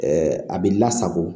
a bɛ lasago